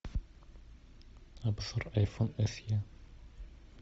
обзор айфон се